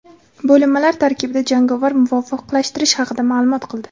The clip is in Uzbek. bo‘linmalar tarkibida jangovar muvofiqlashtirish haqida maʼlum qildi.